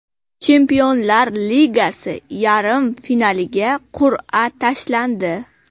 Chempionlar Ligasi yarim finaliga qur’a tashlandi.